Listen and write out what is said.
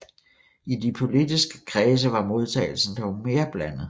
I de politiske kredse var modtagelsen dog mere blandet